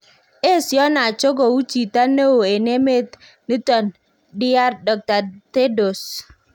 Esio Nacho kouu chito neeo en emet niton Dr Thedros